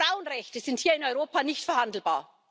Frauenrechte sind hier in Europa nicht verhandelbar!